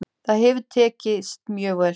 Það hefur tekist mjög vel.